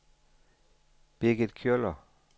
Birgit Kjøller